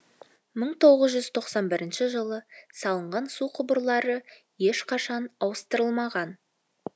мың тоғыз жүз тоқсан бірінші жылы салынған су құбырлары ешқашан ауыстырылмаған